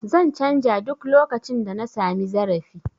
Zan canja duk lokacin da na sami zarafi